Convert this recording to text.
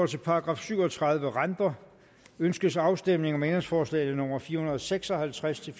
til § syv og tredive renter ønskes afstemning om ændringsforslag nummer fire hundrede og seks og halvtreds til